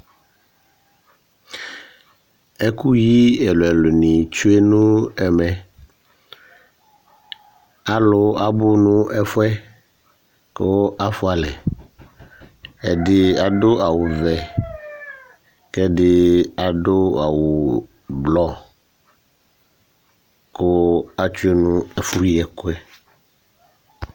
Ɛkʋyi ɛlu ɛlu ni tsʋe nʋ ɛmɛ Alu abʋ nʋ ɛfʋɛ kʋ afʋalɛ Ɛdí adu awu vɛ kʋ ɛdí adu awu blɔ kʋ atsʋe nʋ ɛfʋ yi ɛkʋɛ